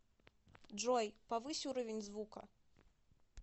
джой повысь уровень звука